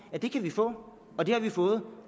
at det kan vi få og det har vi fået